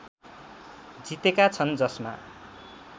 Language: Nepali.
जितेका छन् जसमा